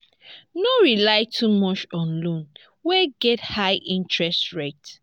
no rely too much on loan wey get high interest rate